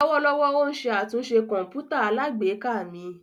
Lọwọlọwọ o n ṣe atunṣe kọǹpútà alágbèéká mi.